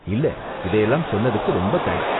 இல்ல, இதயெல்லாம் சொன்னதுக்கு ரொம்ப தேங்க்ஸ்.